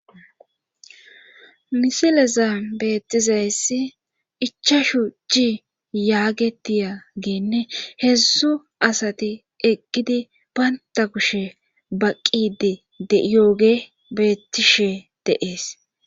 Misileza beettizayssi icha shu ci yaagetiya geenne heedzsu asati eqgidi baynta kushe baqqidi deyooge bettishe deees.